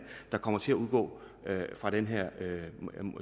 der kommer til at udgå fra den her